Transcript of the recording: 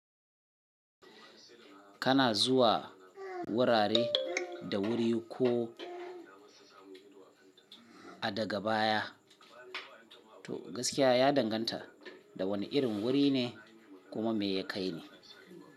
Kana zuwa wurare da wuri ko a daga baya. To gaskiya ya danganta da wane irin wuri ne kuma me ya kai ne.